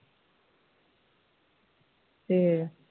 ਤੇ